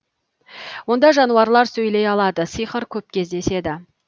онда жануарлар сөйлей алады сиқыр көп кездеседі